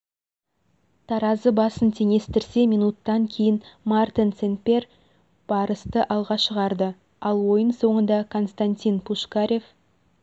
таразы басын теңестірсе минуттан кейін мартен сен-пьер барысты алға шығарды ал ойын соңында константин пушкарев